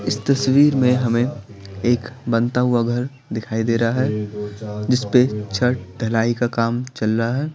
इस तस्वीर में हमें एक बनता हुआ घर दिखाई दे रहा है जिस पे छठ ढलाई का काम चल रहा है।